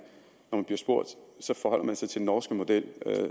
forholder sig til den norske model